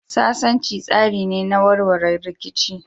Sasanci tsari ne na warware rikici.